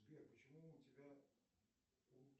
сбер почему у тебя